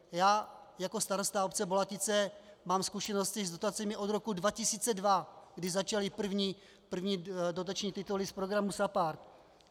Já jako starosta obce Bolatice mám zkušenosti s dotacemi od roku 2002, kdy začaly první dotační tituly z programu SAPARD.